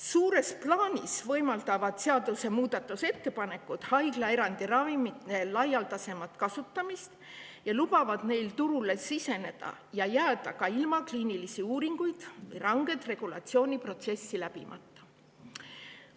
Suures plaanis võimaldavad seaduse muudatusettepanekud ravimite laialdasemat kasutamist haiglaerandi korras ja lubavad neil turule siseneda ja sinna jääda ka ilma kliinilisi uuringuid tegemata ja ranget regulatsiooniprotsessi läbimata.